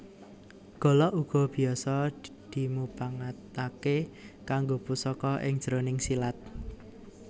Golok uga biasa dimupangatake kanggo pusaka ing jroning silat